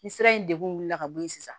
Ni sira in degunna ka bɔ yen sisan